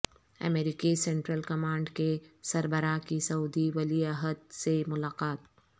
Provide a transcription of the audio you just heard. امریکی central command کے سربراہ کی سعودی ولیعہد سے ملاقات